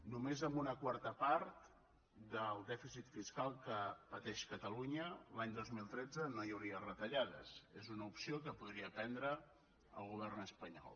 només amb una quarta part del dèficit fiscal que pateix catalunya l’any dos mil tretze no hi hauria retallades és una opció que podria prendre el govern espanyol